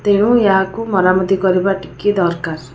ତେଣୁ ଏହାକୁ ମରାମତି କରିବା ଟିକିଏ ଦରକାର ।